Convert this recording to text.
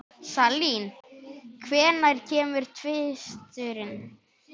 Salín, hvenær kemur tvisturinn?